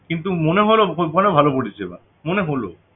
কিন্তু মনে হলো অনেক ভালো পরিষেবা মনে হলো